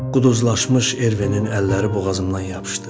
Quduzlaşmış Ervenin əlləri boğazımdan yapışdı.